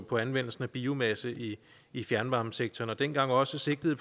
på anvendelsen af biomasse i i fjernvarmesektoren og dengang var sigtet